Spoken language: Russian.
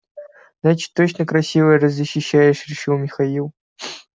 значит точно красивая раз защищаешь решил михаил